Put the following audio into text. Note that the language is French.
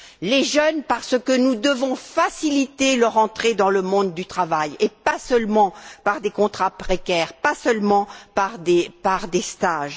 Les jeunes, parce que nous devons faciliter leur entrée dans le monde du travail, et pas seulement par des contrats précaires, pas seulement par des stages